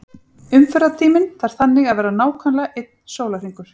Umferðartíminn þarf þannig að vera nákvæmlega einn sólarhringur.